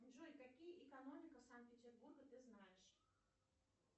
джой какие экономика санкт петербурга ты знаешь